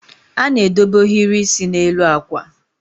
a na-edobe ohiri isi n'elu akwa